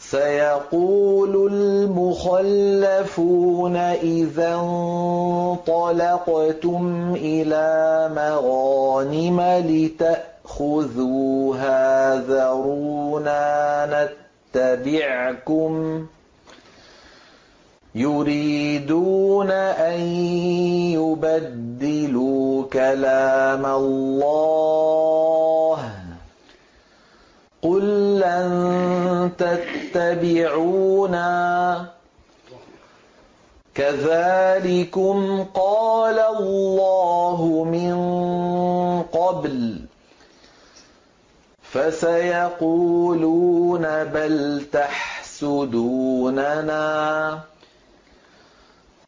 سَيَقُولُ الْمُخَلَّفُونَ إِذَا انطَلَقْتُمْ إِلَىٰ مَغَانِمَ لِتَأْخُذُوهَا ذَرُونَا نَتَّبِعْكُمْ ۖ يُرِيدُونَ أَن يُبَدِّلُوا كَلَامَ اللَّهِ ۚ قُل لَّن تَتَّبِعُونَا كَذَٰلِكُمْ قَالَ اللَّهُ مِن قَبْلُ ۖ فَسَيَقُولُونَ بَلْ تَحْسُدُونَنَا ۚ